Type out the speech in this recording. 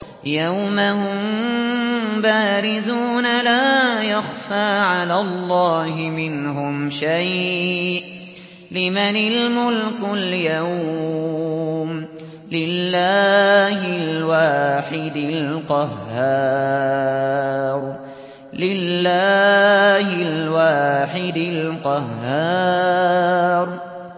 يَوْمَ هُم بَارِزُونَ ۖ لَا يَخْفَىٰ عَلَى اللَّهِ مِنْهُمْ شَيْءٌ ۚ لِّمَنِ الْمُلْكُ الْيَوْمَ ۖ لِلَّهِ الْوَاحِدِ الْقَهَّارِ